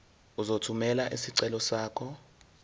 uzothumela isicelo sakho